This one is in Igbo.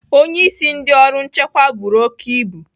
Onye isi ndị ọrụ nchekwa buru oke ibu